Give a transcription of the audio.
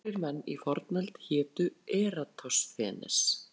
Nokkrir menn í fornöld hétu Eratosþenes.